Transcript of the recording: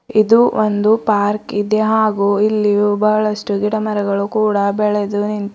ಇದು ಒಂದು ಪಾರ್ಕ್ ಇದೆ ಹಾಗೂ ಇಲ್ಲಿ ಬಹಳಷ್ಟು ಗಿಡ ಮರಗಳು ಕೂಡ ಬೆಳೆದು ನಿಂತಿ.